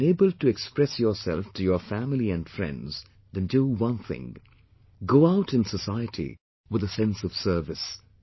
If you are unable to express yourself to your family and friends, then do one thing, go out in society with a sense of service